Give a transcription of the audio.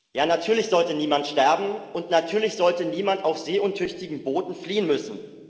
Ja, natürlich sollte niemand sterben und natürlich sollte niemand auf seeuntüchtigen Booten fliehen müssen.